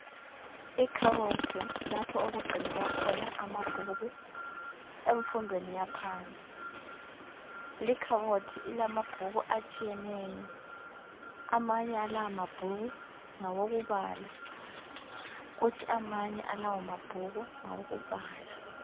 Ikhabothi lapho okugcinelwa khona amabhuku emfundweni yaphansi likhabothi ilamabhuku atshiyeneyo. Amanye alawamabhuku ngawokubala. Kuthi amanye alawamabhuku ngawokubhala.